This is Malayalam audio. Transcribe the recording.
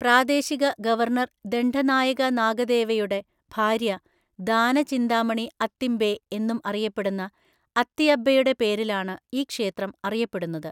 പ്രാദേശിക ഗവർണർ ദണ്ഡനായക നാഗദേവയുടെ ഭാര്യ ദാനചിന്താമണി അത്തിംബെ എന്നും അറിയപ്പെടുന്ന അത്തിയബ്ബെയുടെ പേരിലാണ് ഈ ക്ഷേത്രം അറിയപ്പെടുന്നത്.